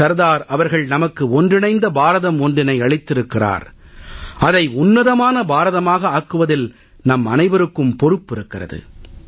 சர்தார் அவர்கள் நமக்கு ஒன்றிணைந்த பாரதம் ஒன்றினை அளித்திருக்கிறார் அதை உன்னதமான பாரதமாக ஆக்குவதில் நம்மனைவருக்கும் பொறுப்பு இருக்கிறது